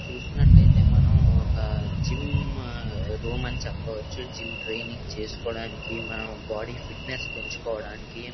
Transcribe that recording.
చూసినట్లు అయితే మనం ఒక జిమ్ రూమ్ అని చెప్పవచ్చు. జిమ్ ట్రైనింగ్ చేసుకోవడానికి మన బాడీ ఫిట్నెస్ పెంచుకోవడానికి--